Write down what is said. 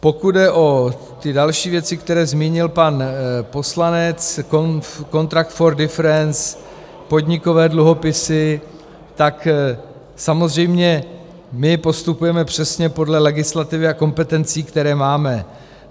Pokud jde o ty další věci, které zmínil pan poslanec, contract for difference, podnikové dluhopisy, tak samozřejmě my postupujeme přesně podle legislativy a kompetencí, které máme.